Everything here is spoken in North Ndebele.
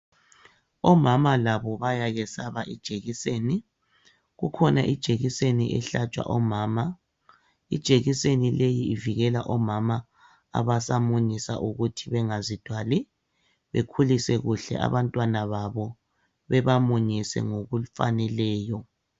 Omama labo bayayesaba ijekiseni, kukhona ijekiseni ehlatshwa omama. Ijekiseni leyi ivikela omama abasamunyisa ukuthi bangazithwali, bekhulise kuhle abantwana babo bebamunyise ngokufaneleyo.